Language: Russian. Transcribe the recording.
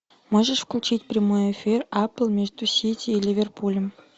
можешь включить прямой эфир апл между сити и ливерпулем